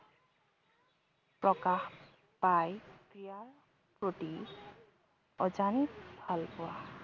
প্ৰকাশ পাই ক্ৰীড়াৰ প্ৰতি অজানিত ভালপোৱা